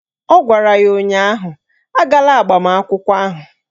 Ọ gwara ya ụnyaahụ "Agala agbamakwụkwọ ahụ"!